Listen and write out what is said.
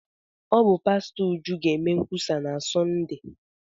Ọ bụ pastọ Uju ga-eme nkwusa na Sọnde.